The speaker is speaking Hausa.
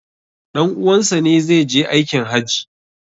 Dan' uwansa ne zai je aikin hajji